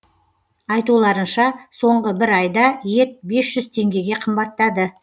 айтуларынша соңғы бір айда ет бес жүз теңгеге қымбаттады